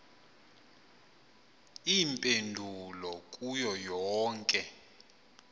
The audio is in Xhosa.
iimpendulo kuyo yonke